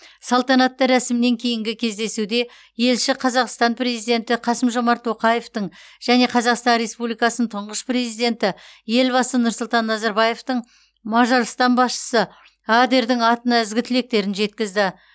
салтанатты рәсімнен кейінгі кездесуде елші қазақстан президенті қасым жомарт тоқаевтың және қазақстан республикасының тұңғыш президенті елбасы нұрсұлтан назарбаевтың мажарстан басшысы адердің атына ізгі тілектерін жеткізді